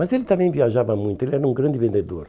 Mas ele também viajava muito, ele era um grande vendedor.